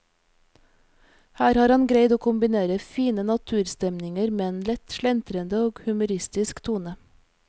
Her har han greid å kombinere fine naturstemninger med en lett slentrende og humoristisk tone.